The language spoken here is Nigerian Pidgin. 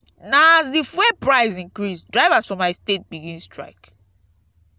na as di fuel price increase drivers for my state begin strike.